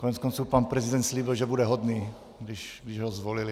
Koneckonců pan prezident slíbil, že bude hodný, když ho zvolili.